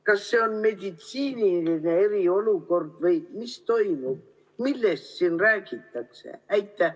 Kas see on meditsiiniline eriolukord või mis toimub, millest siin räägitakse?